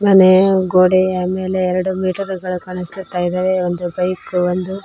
ಅಲೆ ಗೋಡೆಯ ಮೇಲೆ ಎರಡು ಮೀಟರ್ ಗಳ ಕಾಣಸುತ್ತಾ ಇದಾವೆ ಒಂದು ಬೈಕು ಒಂದು --